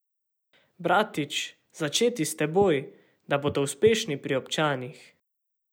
Bratić, začeti s seboj, da bodo uspešni pri občanih.